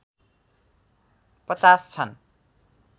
५० छन्